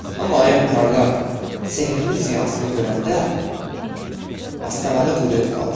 Amma ayın parlaq, sehrli ziyasını görəndə astanada quruyub qaldı.